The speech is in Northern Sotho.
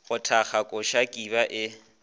go thakga koša kiba e